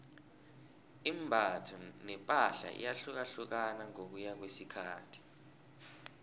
imbatho nepahla iyahlukahlukana ngokuya ngokwesikhathi